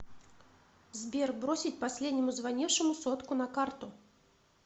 сбер бросить последнему звонившему сотку на карту